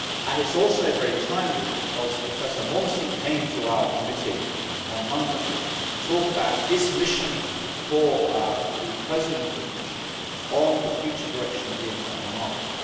It is also very timely because Professor Monti came to our committee on Monday to talk about his mission for the President of the Commission on the future direction of the internal market.